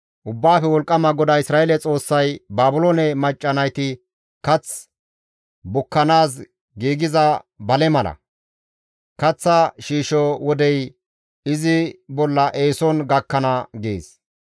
Ubbaafe Wolqqama GODAA Isra7eele Xoossay, «Baabiloone macca nayti kath bukkanaas giigiza bale mala; kaththa shiisho wodey izi bolla eeson gakkana» gees.